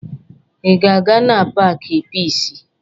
Ị na-aga na paakị Piisi?